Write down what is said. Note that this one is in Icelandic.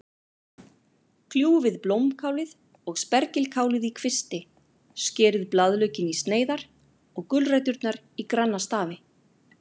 Kljúfið blómkálið og spergilkálið í kvisti, skerið blaðlaukinn í sneiðar og gulræturnar í granna stafi.